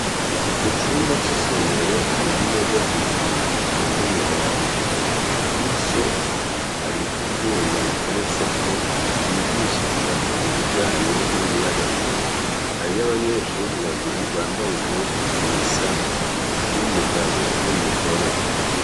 Mu cumba c'isomero hari imeza zibiri zitonze umurongo, kurizo hari ivyuma biteretseko bigishirizako ibijanye n'umuyagankuba, hariyo abanyeshure babiri bambaye impuzu zisa, n'umugabo n'umugore.